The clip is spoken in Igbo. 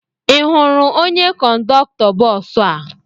Ị hụrụ onye kọndọktọ bọọsụ a?